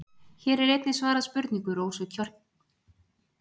Hér er einnig svarað spurningu Rósu Kristjánsdóttur um sama efni.